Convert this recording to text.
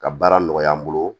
Ka baara nɔgɔya n bolo